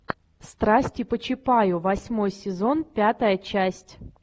страсти по чапаю восьмой сезон пятая часть